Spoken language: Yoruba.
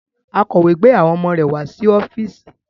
Akọ̀wé gbé àwọn ọmọ rẹ̀ wá sí ọ́fíìsì